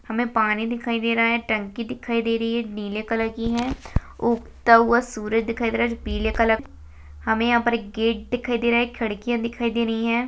हमे पानी दिखाई दे रहा है टंकी दिखाई दे रही है नीले कलर की है उगता हुआ सूरज दिखाई दे रहा है पीले कलर-- हमें यहाँ पर एक गेट दिखाई दे रहा है खिड़किया दिखाई दे रही है।